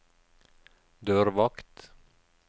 dørvakt